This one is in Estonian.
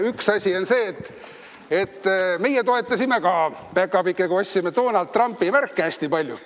Üks asi on see, et meie päkapikkudega toetasime ka, ostsime Donald Trumpi märke hästi palju.